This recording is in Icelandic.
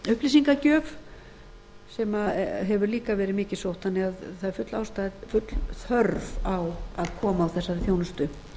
upplýsingagjöf sem hefur líka verið mikið sótt þannig að það er full ástæða full þörf á að koma á þessari þjónustu